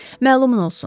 Məlumin olsun.